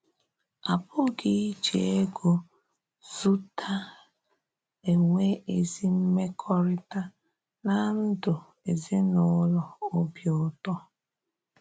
A pụghị̀ íjì égo zùtà ènwè ezí mèkòrịta na ndú ezinụlọ òbí ụ̀tọ́